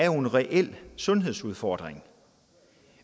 jo en reel sundhedsudfordring